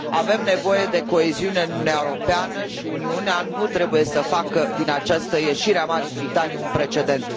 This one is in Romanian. Avem nevoie de coeziune în Uniunea Europeană și Uniunea nu trebuie să facă din această ieșire a Marii Britanii un precedent.